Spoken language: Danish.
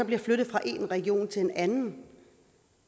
bliver flyttet fra en region til en anden